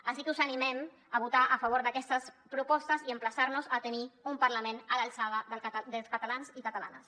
així que us animem a votar a favor d’aquestes propostes i emplaçar nos a tenir un parlament a l’alçada dels catalans i catalanes